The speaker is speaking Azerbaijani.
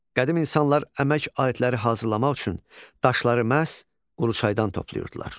Qədim insanlar əmək aletləri hazırlamaq üçün daşları məhz Quruçaydan toplayırdılar.